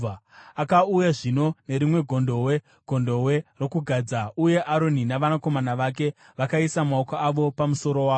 Akauya zvino nerimwe gondobwe, gondobwe rokugadza, uye Aroni navanakomana vake vakaisa maoko avo pamusoro waro.